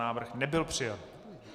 Návrh nebyl přijat.